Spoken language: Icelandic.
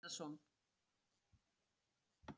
Hverjum vill vera kalt á hálsinum?